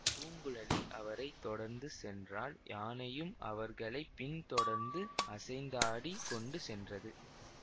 பூங்குழலி அவரை தொடர்ந்து சென்றாள் யானையும் அவர்களை பின் தொடர்ந்து அசைந்தாடிக் கொண்டு சென்றது